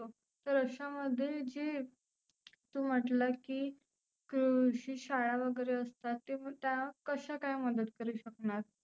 तर आशा मध्ये जे तु म्हटल की कृषी शाळा वगैरे असतात ते त्या कशा काय मदत करु शकनार?